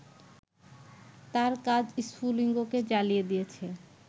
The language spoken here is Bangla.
তাঁর কাজ স্ফুলিঙ্গকে জ্বালিয়ে দিয়েছে